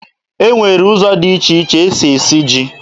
E nwere ụzọ dị iche iche e si esi ji